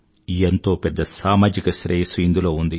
ఎంతో పెద్ద సామాజిక శ్రేయస్సు ఇందులో ఉంది